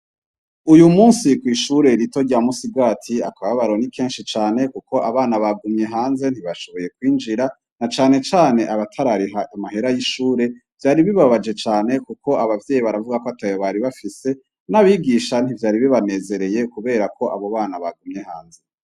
Uyumusi kw'Ishure Rito rya Musigati, akababaro nikenshi cane ,Kuko Abana bagumye hanze ntibashoboye kwinjira, na cane cane abatarariha amahera y'Ishure, vyari bibabaje cane kuko abavyeyi baravuga KO atayo Bari bafise, n'Abigisha ntivyari bibanezereye, kuberako abobana bagumye hanze.